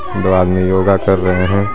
आदमी योगा कर रहे हैं।